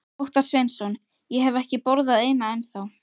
Óttar Sveinsson: Ég hef ekki borðað eina ennþá?